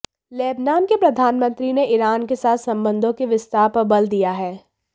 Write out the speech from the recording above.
Lebanon के प्रधानमंत्री ने ईरान के साथ संबंधों के विस्तार पर बल दिया है